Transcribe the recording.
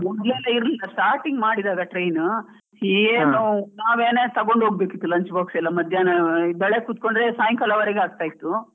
ಮುಗಿಯೋದೇ ಇರ್ಲಿಲ್ಲ starting ಮಾಡಿದ್ದಾರೆ train ಏನು ನಾವೇನೇ ತಗೊಂಡ್ ಹೋಗ್ಬೇಕ್ ಇತ್ತು lunch box ಎಲ್ಲ ಮಧ್ಯಾಹ್ನ ಬೆಳ್ಳಿಗ್ಗೆ ಕುತ್ಕೊಂಡ್ರೆ ಸಾಯಿಂಕಾಲವರೆಗೆ ಆಗ್ತಾ ಇತ್ತು.